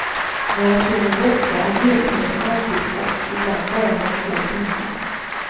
När jag sover borta är ledigheten alltid kort, ibland bara några få timmar.